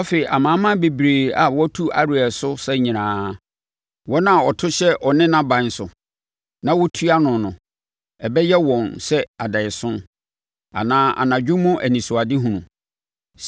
Afei amanaman bebrebe a wɔtu Ariel so sa nyinaa, wɔn a wɔto hyɛ ɔne nʼaban so na wotua no no, ɛbɛyɛ wɔn sɛ adaeɛso, anaa anadwo mu anisoadehunu.